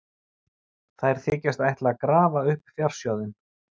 Þær þykjast ætla að grafa upp fjársjóðinn.